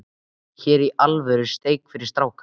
Hér er alvöru steik fyrir stráka.